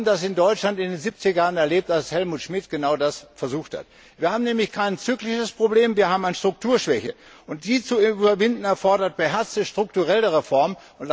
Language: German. Wir haben das in Deutschland in den 70er Jahren erlebt, als Helmut Schmidt genau das versucht hat. Wir haben nämlich kein zyklisches Problem, wir haben eine Strukturschwäche. Die zu überwinden erfordert beherzte strukturelle Reformen.